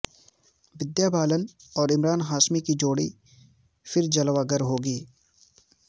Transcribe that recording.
ودیا بالن اور عمران ہاشمی کی جوڑی پھر جلوگر ہوگی